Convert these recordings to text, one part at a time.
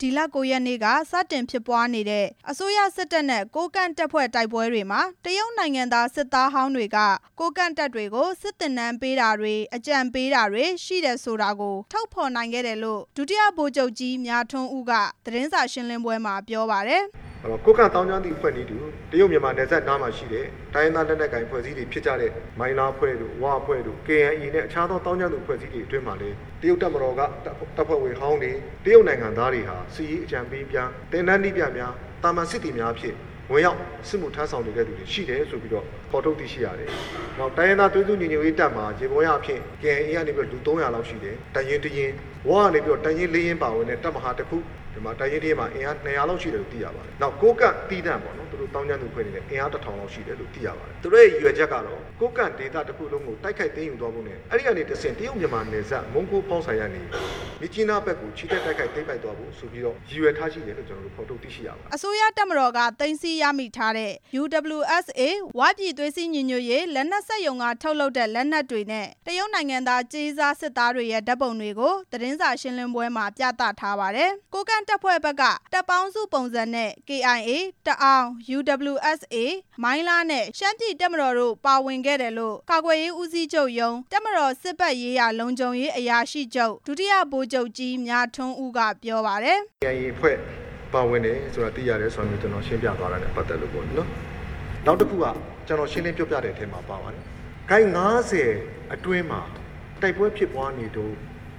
ဒီလ ၉ ရက်နေ့က စတင်ဖြစ်ပွားနေတဲ့ အစိုးရစစ်တပ်နဲ့ ကိုးကန့်တပ်ဖွဲ့ တိုက်ပွဲတွေမှာ တရုတ်နိုင်ငံသား စစ်သားဟောင်းတွေက ကိုးကန့်တပ်တွေကို စစ်သင်တန်းပေးတာတွေ အကြံပေးတာတွေ ရှိတယ်ဆိုတာ ကို ဖော်ထုတ်နိုင်ခဲ့တယ်လို့ ဒုတိယဗိုလ်ချုပ်ကြီးမြထွန်းဦးက သတင်းစာရှင်းလင်းပွဲမှာ ပြောပါတယ်။ ဒုတိယဗိုလ်ချုပ်ကြီးမြထွန်းဦး။ ။ကိုးကန့်သောင်းကျန်းသူအဖွဲ့နဲ့အတူ တရုတ်မြန်မာနယ်စပ်နားမှာရှိတဲ့ တိုင်းရင်းသားလက်နက်ကိုင် အဖွဲ့အစည်းများဖြစ်ကြတဲ့ မိုင်းလားအဖွဲ့၊ ဝအဖွဲ့တို့၊ ကေအိုင်အေနဲ့ အခြားသောသောင်းကျန်းသူ အဖွဲ့အစည်းတွေအတွင်းမှာလည်း တရုတ်တပ်မတော်က တပ်ဖွဲ့ဝင်ဟောင်းတွေ တရုတ်နိုင်ငံသားတွေဟာ စစ်ရေးအကြံပေးများ၊ သင်တန်းနည်းပြများ၊ သာမန်စစ်သည်များဖြင့် ဝင်ရောက်စစ်မှု ထမ်းဆောင်နေတဲ့သူတွေ ရှိတယ်ဆိုပြီးတော့ ဖော်ထုတ်သိရှိရပါတယ်၊ တိုင်းရင်းသားသွေးစည်းညီညွတ်ရေးတပ် မှာ ယေဘုယအားဖြင့် ကေအိုင်အေက လူ ၃ဝဝ လောက်ရှိတယ်၊ တပ်ရင်း ၁ ရင်း၊ ဝ ကနေပြီးတော့ တပ်ရင်း ၁ ရင်းအပါအဝင်နဲ့ တပ်မဟာ ၁ ခု၊ တပ်ရင်း ၁ ရင်းမှာ အင်အား ၂ဝဝ လောက်ရှိတယ်လို့ သိရပါတယ်၊ နောက် ကိုးကန့် သီးသန့်ပေါ့နော် သူတို့သောင်းကျန်းသူအဖွဲ့တွေလည်း အင်အား ၁ဝဝဝ လောက်ရှိတယ်လို့ သိရပါတယ်၊ သူတို့ရဲ့ရည်ရွယ်ချက်ကတော့ ကိုးကန့်ဒေသတစ်ခုလုံးကို တိုက်ခိုက်သိမ်းယူသွာဖို့နဲ့ အဲ့ဒီကနေတဆင့် တရုတ်မြန် မာနယ်စပ်ကနေ မြစ်ကြီးနားဘက်ကို ချီတက်တိုက်ခိုက် သိမ်းပိုက်သွားဖို့ဆိုပြီးတော့ ရည်ရွယ်ထားရှိတယ်လို့ ကျနော်တို့ ဖော်ထုတ်သိရှိရပါတယ်။ အစိုးရတပ်မတော်က သိမ်းဆည်းရမိထားတဲ့ UWSA ဝပြည်သွေးစည်းညီညွတ်ရေး လက်နက်စက်ရုံထုတ် တပ်မတော်က ဖမ်းဆီးမိထားတဲ့ လက်နက်တွေနဲ့ တရုတ်နိုင်ငံသား ကြေးစားစစ်သားတွေရဲ့ ဓာတ်ပုံတွေကို သတင်းစာရှင်းလင်းပွဲမှာ ပြသထားပါတယ်။ ကိုးကန့်တပ်ဖွဲ့ဘက်က တပ်ပေါင်းစုပုံစံနဲ့ ကေအိုင်အေ၊ တအာင်း၊ UWSA၊ မိုင်းလားနဲ့ ရှမ်းပြည်တပ်မတော်တို့ ပါဝင်ခဲ့တယ်လို့ ကာကွယ်ရေးဦးစီးချုပ်ရုံး တပ်မတော်စစ်ဘက်ရေးရာလုံခြုံရေး အရာရှိချုပ် ဒုတိယဗိုလ်ချုပ် ကြီး မြထွန်းဦးက ပြောပါတယ်။ ဒုတိယဗိုလ်ချုပ်ကြီးမြထွန်းဦး။ ။ကေအိုင်အေအဖွဲ့ပါဝင်တယ်ဆိုတာ သိရတယ်ဆိုတာနဲ့ ကျနော်ရှင်းပြ သွားတာနဲ့ ပတ်သက်လို့ပေါ့လေနော်၊ နောက်တစ်ခုက ကျနော်ရှင်းလင်း ပြောပြတဲ့အထဲမှာပါပါတယ်၊ ကိုက် ၅ဝ အတွင်းမှာ တိုက်ပွဲဖြစ်ပွားနေတုန်း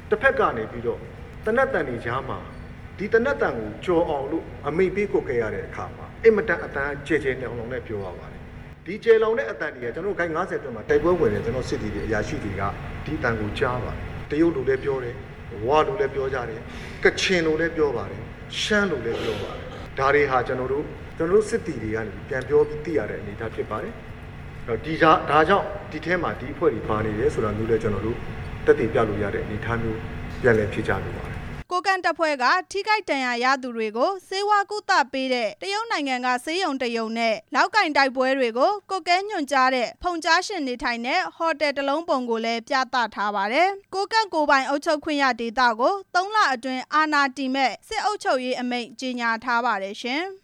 တစ်လက်ကနေပြီးတော့ သေနတ်သံတွေကြားမှာ ဒီသေနတ်သံကိုကျော်အောင် လို့ အမိန့်ပေးကွက်ကဲရတာ အင်မတန်အသံက ကျယ်ကျယ်လောင်လောင်နဲ့ ပြောရပါတယ်၊ ဒီကျယ်လောက်တဲ့ အသံတွေဟာ ကျနော်တို့ ကိုက် ၅ဝ အတွင်းမှာ တိုက်ပွဲဝင်နေတဲ့ စစ်သည်တွေ၊ အရာရှိတွေက ဒီအသံကိုကြား ရပါတယ်၊ တရုတ်လိုလည်းပြောတယ်၊ ဝလိုလည်းပြောကြတယ်၊ ကချင်လိုလည်းပြောပါတယ်၊ ရှမ်းလိုလည်းပြော ပါတယ်၊ ဒါတွေဟာ ကျနော်တို့ သူတို့စစ်သည်တွေကနေ ပြန်ပြောပြီးသိရတဲ့ အနေအထားဖြစ်ပါတယ်၊ ဒါကြောင့် ဒီအထဲမှာ ဒီအဖွဲ့တွေပါနေတယ်ဆိုတာမျိုးလည်း ကျနော်တို့ သက်သေပြလို့ရတဲ့အနေအထားမျိုး ပြန်လည်ဖြေ ကြားလိုပါတယ်။ ကိုးကန့်တပ်ဖွဲ့က ထိခိုက်ဒဏ်ရာရသူတွေကို ဆေးဝါးကုသပေးတဲ့ တရုတ်နိုင်ငံက ဆေးရုံတစ်ရုံနဲ့ လောက်ကိုင် တိုက်ပွဲတွေကို ကွပ်ကဲညွှန်ကြားတဲ့ ဖုန်ကြားရှင် နေထိုင်တဲ့ ဟိုတယ်တစ်လုံးပုံကိုလည်း ပြသထားပါတယ်။ ကိုးကန့်ကိုယ်ပိုင်အုပ်ချုပ်ခွင့်ရဒေသကို ၃ လအတွင်း အာဏာတည်မယ့် စစ်အုပ်ချုပ်ရေးအမိန့် ကြေညာထား ပါတယ်ရှင်။